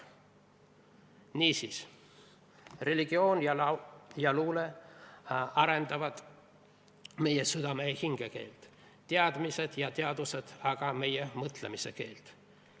Niisiis: religioon ja luule arendavad meie südame ja hinge keelt, teadmised ja teadused aga meie mõtlemise keelt.